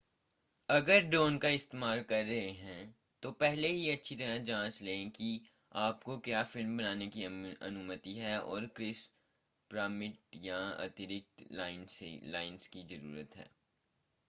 अगर ड्रोन का इस्तेमाल कर रहे हैं तो पहले ही अच्छी तरह जांच लें कि आपको क्या फ़िल्म बनाने की अनुमति है और किस परमिट या अतिरिक्त लाइसेंस की ज़रूरत है